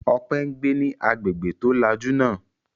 Ọpẹ́ ń gbé ní agbègbè tó lajú náà.